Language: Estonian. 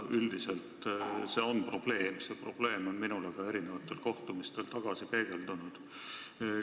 Üldiselt on see probleem ja see on minule ka mitmetel kohtumistel tagasi peegeldunud.